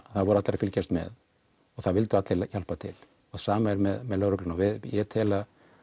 það voru allir að fylgjast með og það vildu allir hjálpa til það sama er með lögregluna og ég tel